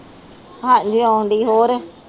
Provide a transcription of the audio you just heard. ਹਾਂਜੀ ਆਉਂਦੀ ਹੋਰ